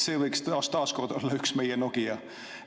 See võiks taas kord olla üks meie Nokia.